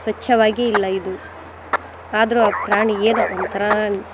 ಚವಾಗಿಲ್ಲ ಇದು ಅದ್ರು ಆ ಪ್ರಾಣಿ ಏನೋ ಒಂಥರಾ --